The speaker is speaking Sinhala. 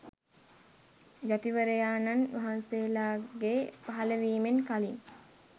යතිවරයාණන් වහන්සේලාගේ පහළවීමෙන් කලින්